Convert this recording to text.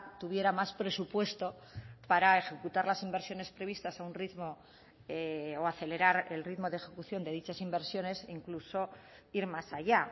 tuviera más presupuesto para ejecutar las inversiones previstas a un ritmo o acelerar el ritmo de ejecución de dichas inversiones incluso ir más allá